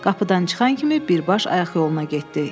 Qapıdan çıxan kimi birbaş ayaq yoluna getdi.